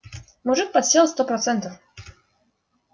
мужик подсел сто процентов